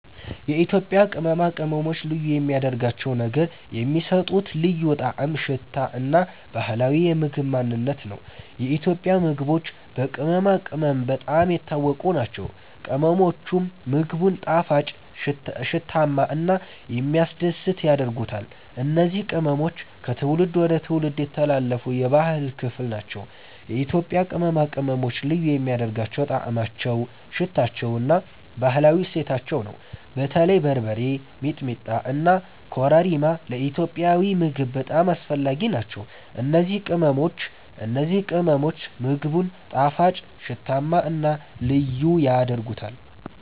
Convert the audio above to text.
የኢትዮጵያ ቅመማ ቅመሞች ልዩ የሚያደርጋቸው ነገር የሚሰጡት ልዩ ጣዕም፣ ሽታ እና ባህላዊ የምግብ ማንነት ነው። የኢትዮጵያ ምግቦች በቅመማ ቅመም በጣም የታወቁ ናቸው፤ ቅመሞቹም ምግቡን ጣፋጭ፣ ሽታማ እና የሚያስደስት ያደርጉታል። እነዚህ ቅመሞች ከትውልድ ወደ ትውልድ የተላለፉ የባህል ክፍል ናቸው። የኢትዮጵያ ቅመማ ቅመሞች ልዩ የሚያደርጋቸው ጣዕማቸው፣ ሽታቸው እና ባህላዊ እሴታቸው ነው። በተለይ በርበሬ፣ ሚጥሚጣ እና ኮረሪማ ለኢትዮጵያዊ ምግብ በጣም አስፈላጊ ናቸው። እነዚህ ቅመሞች ምግቡን ጣፋጭ፣ ሽታማ እና ልዩ ያደርጉታል።